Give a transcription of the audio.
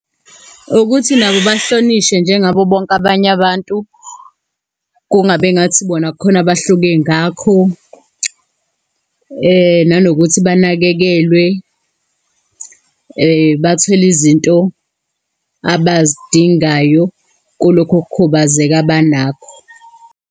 Ukuthi nabo bahlonishwe njengabo bonke abanye abantu, kungabi engathi bona khona bahluke ngakho. Nanokuthi banakekelwe, bathole izinto abazidingayo kulokho kukhubazeka abanakho.